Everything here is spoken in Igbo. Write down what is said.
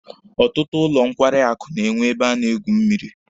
Ọtụtụ ụlọ nkwarị akụ na-enwe ebe a na-egwu mmịrị.